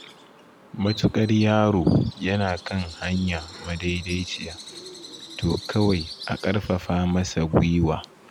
Matuƙar yaro yana kan hanya madaidaiciya, to kawai a ƙarfafa masa guiwa.